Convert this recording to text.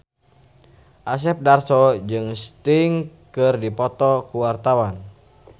Asep Darso jeung Sting keur dipoto ku wartawan